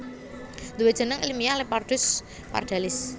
Duwe jeneng ilmiyah Leopardus Pardalis